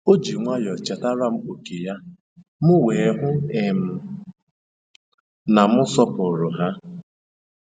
O ji nwayọọ chetara m ókè ya, m wee hụ um na m sọpụrụ ha.